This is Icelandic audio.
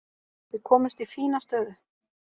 Við komumst í fína stöðu.